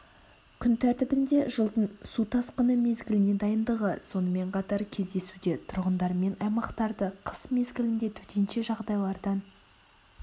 күн тәртібінде жылдың су тасқыны мезгіліне дайындығы сонымен қатар кезесуде тұрғындармен аймақтарды қыс мезгілінде төтенше жағдайлардан